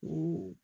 U